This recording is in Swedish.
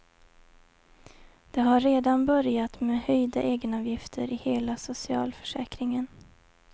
Det har redan börjat med höjda egenavgifter i hela socialförsäkringen.